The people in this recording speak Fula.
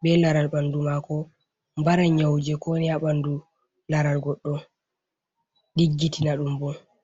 be laral ɓandu maako, mbaran nyau jei ko woni ha ɓandu laral goɗɗo, ɗiggitina ɗum bo.